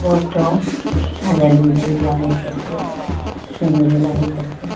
ঘরটাও সাজাইল গুজইল লাগে দেখতে সুন্দরও লাগে দেখতে।